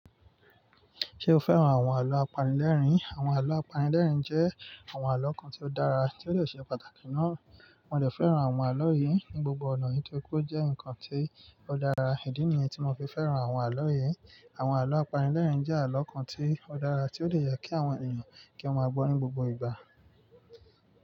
Ṣé o fẹ́ràn àwọn àlọ́ apanilẹ́rìn? Àwọn àlọ́ apanilẹ́rìn jẹ́ àwọn àlọ́ kan tí ó dára, tí ó dè ṣe pàtàkì ná. Mo ń dẹ̀ fẹ́ràn àwọn àlọ́ yìí ní gbogbo ọ̀nà yìí nítorí pé ó jẹ́ nǹkan tí ó dára. Idi ni yen tí mo fi fẹ́ràn àwọn àlọ́ yìí. Àwọn àlọ́ apanilẹ́rìn jẹ́ àlọ́ kan tí ó dára tí ó lè yà kí àwọn ènìyàn kí wọ́n gbọ́ ní gbogbo ìgbà.